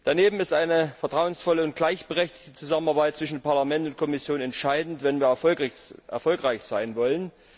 Daneben ist eine vertrauensvolle und gleichberechtigte Zusammenarbeit zwischen Parlament und Kommission entscheidend, wenn wir erfolgreich sein wollen.